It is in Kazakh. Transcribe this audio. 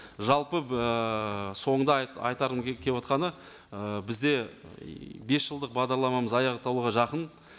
жалпы ыыы соңында айтарым келіп отырғаны ы бізде бес жылдық бағдарламамыз аяқталуға жақын